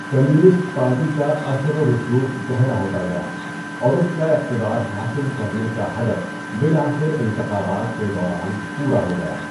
Communist party کا اثر و رسوخ گہرا ہوتا گیا، اور اس کا اقتدار حاصل کرنے کا ہدف بالآخر انتخابات کے دوران پورا ہو گیا۔